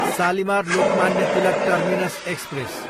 Shalimar, Lokmanya Tilak terminus express